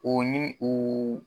U ni uu